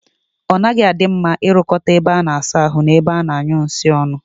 O naghi adi mma I rukota ebe a na-asa ahu na ebe a na-anyu nsi onu